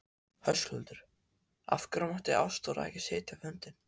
Höskuldur: Af hverju mátti Ástþór ekki sitja fundinn?